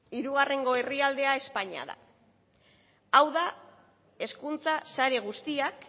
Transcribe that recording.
hirugarrengo herrialdea espainia da hau da hezkuntza sare guztiak